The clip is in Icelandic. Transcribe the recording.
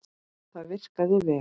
Það virkaði vel.